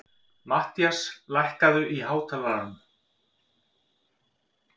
Mattías, lækkaðu í hátalaranum.